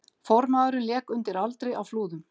Formaðurinn lék undir aldri á Flúðum